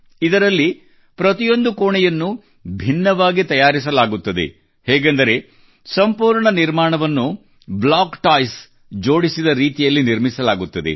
ಇದರಲ್ಲಿ ಪ್ರತಿಯೊಂದು ಕೋಣೆಯನ್ನು ಭಿನ್ನವಾಗಿ ತಯಾರಿಸಲಾಗುತ್ತದೆ ಹೇಗೆಂದರೆ ಸಂಪೂರ್ಣ ನಿರ್ಮಾಣವನ್ನು ಬ್ಲಾಕ್ ಟಾಯ್ಸ್ ಜೋಡಿಸಿದ ರೀತಿಯಲ್ಲಿ ನಿರ್ಮಿಸಲಾಗುತ್ತದೆ